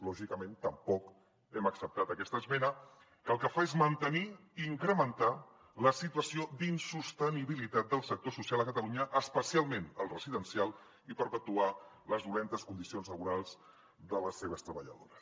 lògicament tampoc hem acceptat aquesta esmena que el que fa és mantenir i incrementar la situació d’insostenibilitat del sector social a catalunya especialment el residencial i perpetuar les males condicions laborals de les seves treballadores